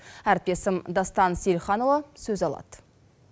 әріптесім дастан сейілханұлы сөз алады